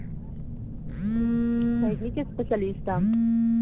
найдите специалиста